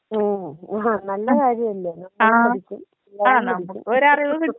ഉം ആ നല്ല കാര്യമല്ലേ നമ്മളും പഠിക്കും പിള്ളേരും പഠിക്കും.